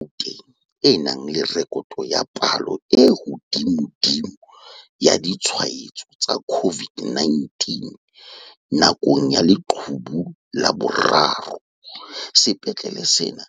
Ka Gauteng e nang le rekoto ya palo e hodimodimo ya ditshwa etso tsa COVID-19 nakong ya leqhubu la boraro, sepetlele sena